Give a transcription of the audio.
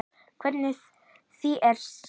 Og hvernig því er stýrt.